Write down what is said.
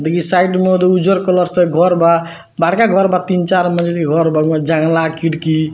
देखिह side में उजर colour से घर बा बड़का घर बा तीन-चार मंजिल के घर बा ओय मे जंगला खिड़की --